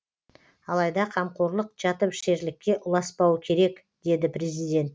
алайда қамқорлық жатып ішерлікке ұласпауы керек деді президент